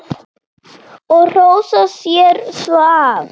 Og hrósa sér svo af.